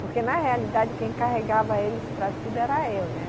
Porque, na realidade, quem carregava eles para tudo era eu, né?